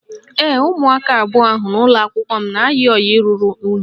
Ee, umụaka abụọ ahụ n'ụlọakwụkwọ m na-ayi ọyị ruru unyị